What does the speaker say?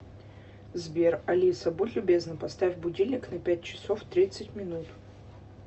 сбер алиса будь любезна поставь будильник на пять часов тридцать минут